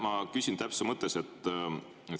Ma küsin täpsustuse mõttes.